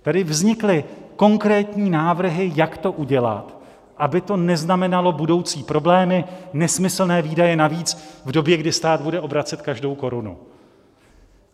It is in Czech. Tady vznikly konkrétní návrhy, jak to udělat, aby to neznamenalo budoucí problémy, nesmyslné výdaje navíc v době, kdy stát bude obracet každou korunu.